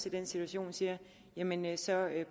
i den situation siger jamen så